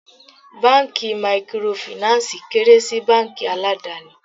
Báńkì Mikorofìnánsìì kéré sí báńkì aládàni.